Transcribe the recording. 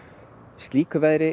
slíku veðri